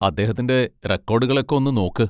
അദ്ദേഹത്തിൻ്റെ റെക്കോഡുകൾ ഒക്കെ ഒന്ന് നോക്ക്.